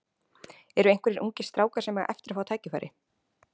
Eru einhverjir ungir strákar sem eiga eftir að fá tækifæri?